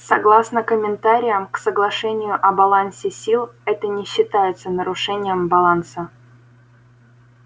согласно комментариям к соглашению о балансе сил это не считается нарушением баланса